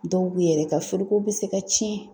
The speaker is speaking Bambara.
Dɔw bɛ yɛrɛ ka firiko bɛ se ka tiɲɛ.